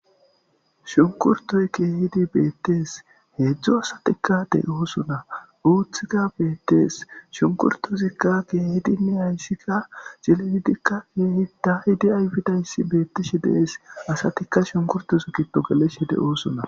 Shunkurtoy kehidi betes hedzu asatikka de'osona utika betes shunkurtozika kehidine haysika c'lilidika kehi dayidi ayfidi betishe de'es asatika shunkurtos gido gelishe de'osona.